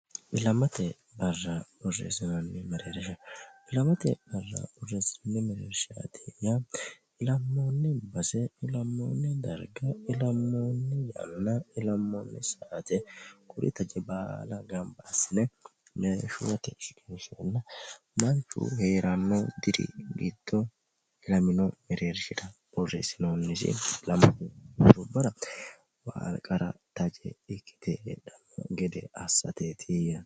ilamate barra boreesinanni mererishsha. ilamatte barra borresinanni mereershati yaa ilammoonni base ilammoonni darga ilammoonni yanna ilammoonni saate kuri taje baala gamba asine meesuwatte shiqinishenna manchu hee'rammo diri giddo ilamino mereershira borresinoonnisi ilammubbara qaarqara taje ikkite hedhanno gede assateetiyya